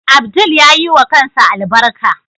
Abdul yayiwa kansa albarka.